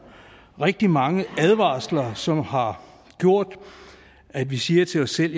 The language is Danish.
rigtig mange advarsler som har gjort at vi siger til os selv